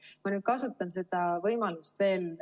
Ma nüüd kasutan seda võimalust veel.